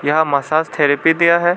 यहां massage therapy दिया है।